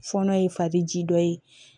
Fɔɔnɔ ye fadi ji dɔ ye